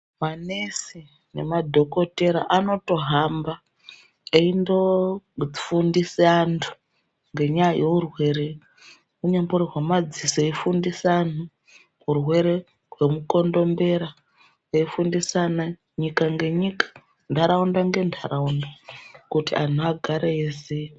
Manesi nemadhokotera anotohamba eindo fundise antu ngenyaya yeurwere. Unyambori hwemadziso veifundisa antu, hurwere hwemukondombera veifundisana nyika nenyika, nharaunda nenharaunda kuti antu agare eiziya.